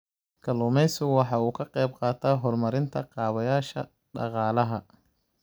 Kalluumaysigu waxa uu ka qayb qaataa horumarinta kaabayaasha dhaqaalaha.